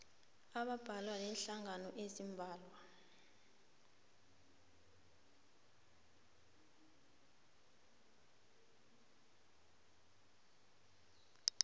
abambalwa neenhlangano eziimbalwa